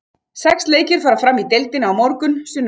Sex leikir fara fram í deildinni á morgun, sunnudag.